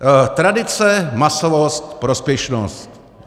Tradice, masovost, prospěšnost.